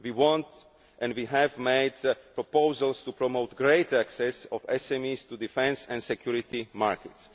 We want and we have made proposals to promote greater access by SMEs to defence and security markets.